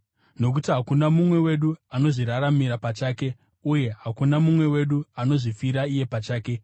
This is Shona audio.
Nokuti hakuna mumwe wedu anozviraramira pachake, uye hakuna mumwe wedu anozvifira iye pachake.